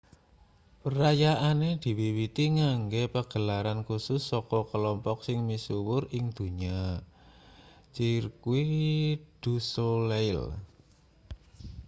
perayaane diwiwiti nganggo pagelaran kusus saka kelompok sing misuwur ing donya cirque du soleil